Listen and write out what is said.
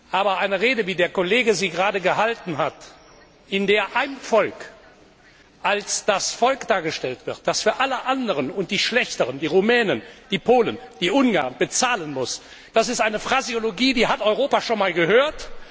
Aber eine Rede, wie sie der Kollege gerade gehalten hat, in der ein Volk als das Volk dargestellt wird, das für alle anderen und die schlechteren, die Rumänen, die Polen, die Ungarn, bezahlen muss das ist eine Phraseologie, die hat Europa schon einmal gehört.